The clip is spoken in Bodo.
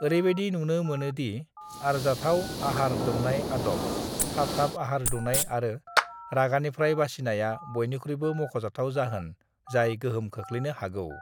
"ओरैबायदि नुनो मोनो दि आरजाथाव आहार दौनाय आदब, थाब-थाब आहार दौनाय आरो रागानिफ्राय बासिनायआ बयनिख्रुइबो मख'जाथाव जाहोन जाय गोहोम खोख्लैनो हागौ।"